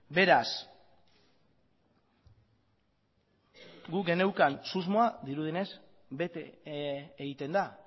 beraz guk geneukan susmoa dirudienez bete egiten da